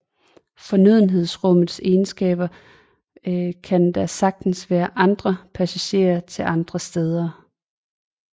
Fornødenhedsrummets egenskaber kan der sagtens være andre passager til andre steder